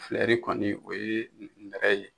Filɛri kɔni, o ye nɛrɛ ye.